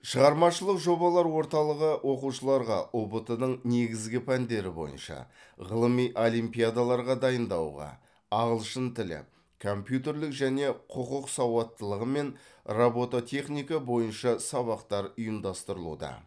шығармашылық жобалар орталығы оқушыларға ұбт ның негізгі пәндері бойынша ғылыми олимпиадаларға дайындауға ағылшын тілі компьютерлік және құқық сауаттылығы мен ротоботехника бойынша сабақтар ұйымдастырылуда